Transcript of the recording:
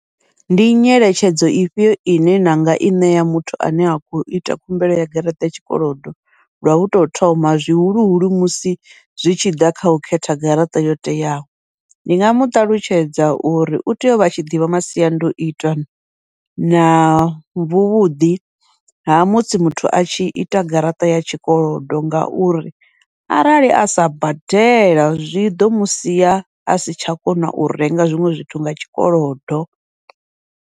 Ndi nyeletshedzo ifhio ine nanga i ṋea muthu ane a khou ita khumbelo ya garaṱa ya tshikolodo lwa uto thoma zwihuluhulu, musi zwi tshi ḓa kha u khetha garaṱa yo teaho, ndi nga muṱalutshedza uri utea uvha atshi ḓivha masiandoitwa na vhuvhuḓi ha musi muthu atshi ita garaṱa ya tshikolodo, ngauri arali asa badela zwiḓo musia asi tsha kona u renga zwiṅwe zwithu nga tshikolodo.